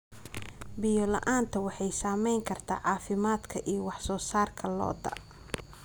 Biyo la'aantu waxay saamayn kartaa caafimaadka iyo wax soo saarka lo'da.